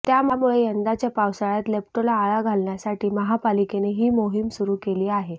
त्यामुळे यंदाच्या पावसाळयात लेप्टोला आळा घालण्यासाठी महापालिकेने ही मोहीम सुरू केली आहे